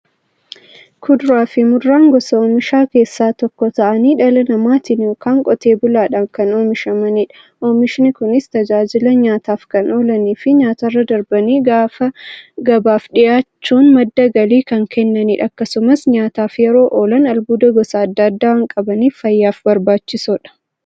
Kuduraafi muduraan gosa oomishaa keessaa tokko ta'anii, dhala namaatin yookiin Qotee bulaadhan kan oomishamaniidha. Oomishni Kunis, tajaajila nyaataf kan oolaniifi nyaatarra darbanii gabaaf dhiyaachuun madda galii kan kennaniidha. Akkasumas nyaataf yeroo oolan, albuuda gosa adda addaa waan qabaniif, fayyaaf barbaachisoodha.